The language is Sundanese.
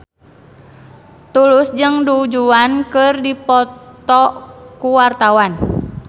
Tulus jeung Du Juan keur dipoto ku wartawan